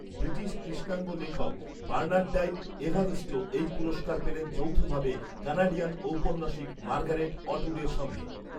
British কৃষ্ণাঙ্গ লেখক Bernardine Evaristo এই পুরস্কার পেলেন যৌথভাবে কানাডিয়ান ঔপন্যাসিক মার্গারেট অটউডের সঙ্গে